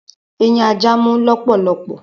Eyin aja mú lólòlòpò